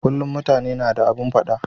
Kullun mutane na da abun fada